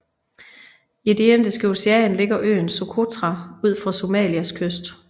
I det Indiske Ocean ligger øen Socotra ud for Somalias kyst